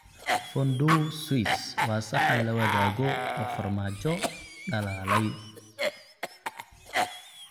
Fondue Swiss waa saxan la wadaago oo farmaajo dhalaalay.